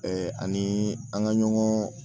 ani an ga ɲɔgɔn